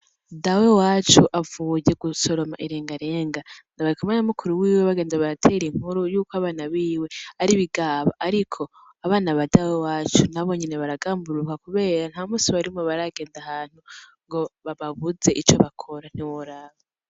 Dawewacu avuye gusoroma irengarenga, bari kumwe na mukuru wiwe bagenda baratera inkuru yuko abana biwe ari ibigaba, ariko abana ba dawewacu nabo nyene baragamburuka kubera nta musi warimwe baragenda ahantu ngo babuze ico bakora, ntiworaba.